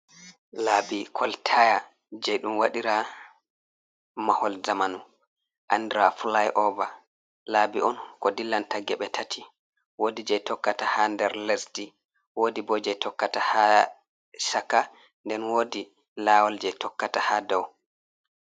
Labbi koltaya je ɗum waɗira mahol zamanu andira fly over labbi on ko dillanta geɓe tati wodi je tokkata ha nder lesdi wodi bo je tokkata ha shaka nden wodi lawol je tokkata ha dow.